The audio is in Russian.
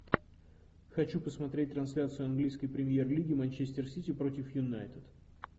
хочу посмотреть трансляцию английской премьер лиги манчестер сити против юнайтед